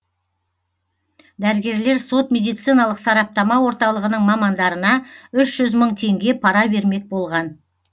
дәрігерлер сот медициналық сараптама орталығының мамандарына үш жүз мың теңге пара бермек болған